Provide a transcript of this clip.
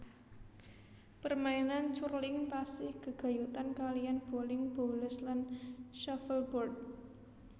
Permainan curling tasih gègayutan kaliyan boling boules lan shuffleboard